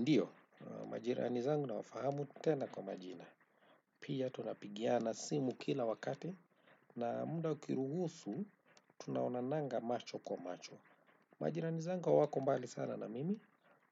Ndiyo, majirani zangu nawafahamu tena kwa majina. Pia tunapigiana simu kila wakati na muda ukiruhusu, tunaonananga macho kwa macho. Majirani zangu hawako mbali sana na mimi.